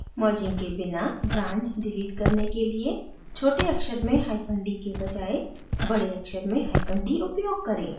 merging के बिना branch delete करने के लिए छोटे अक्षर में hyphen d के बजाय बड़े अक्षर में hyphen d उपयोग करें